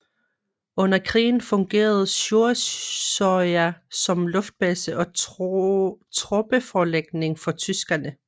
Under krigen fungerede Sjursøya som luftbase og troppeforlægning for tyskerne